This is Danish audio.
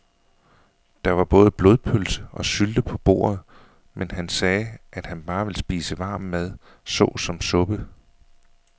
Der var både blodpølse og sylte på bordet, men han sagde, at han bare ville spise varm mad såsom suppe.